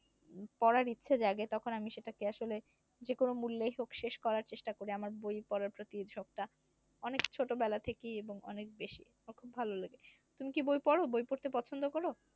পড়ার ইচ্ছে জাগে তখন আমি সেটাকে আসলে যেকোন মূল্যেই হোক শেষ করার চেষ্টা করি। আমার বই পড়ার প্রতি ঝোক টা অনেক ছোটবেলা থেকেই এবং অনেক বেশি আমার খুব ভালো লাগে। তুমি কি বই পড় বই পড়তে পছন্দ করো?